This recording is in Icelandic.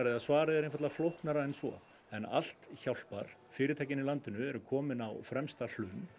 eða svarið er einfaldara flóknara en svo en allt hjálpar fyrirtækin í landinu eru komin á fremsta hlunn